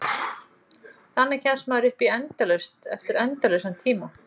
Þannig kemst maður upp í endalaust eftir endalausan tíma.